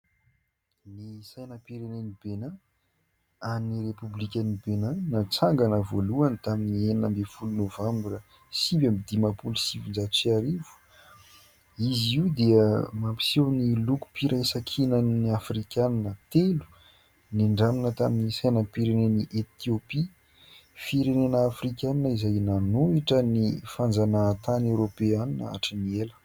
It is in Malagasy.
Ny sainam-pireneny "Bénin" any repoblikan'ny "Bénin" natsangana voalohany tamin'ny enina amby roapolo novambra sivy amby dimapolo sivinjato sy arivo izy io dia mampiseho ny lokom-piraisankinan'ny Afrikanina telo nindramina tamin'ny sainam-pirenen'i Etiopia firenena afrikana izay nanohitra ny fanjanahantany Eoropeanina hatry ny ela.